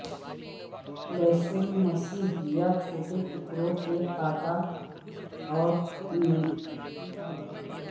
لہسن مسح یا چھوٹے ٹکڑوں میں کاٹا اور میئونیز کے ساتھ اختلاط